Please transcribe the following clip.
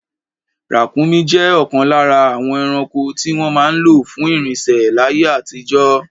Ràkúnmí jẹ́ ọ̀kan lára àwọn ẹranko tí wọ́n máa ń lò fún ìrìnsẹ̀ láyé àtijọ́.